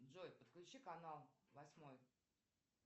джой подключи канал восьмой